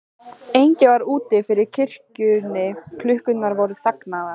Enginn var úti fyrir kirkjunni, klukkurnar voru þagnaðar.